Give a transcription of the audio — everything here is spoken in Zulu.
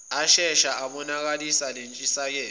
ashesha ayibonakalisa lentshisekelo